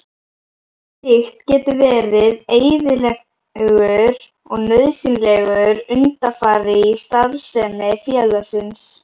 Slíkt getur verið eðlilegur og nauðsynlegur undanfari í starfsemi félagsins.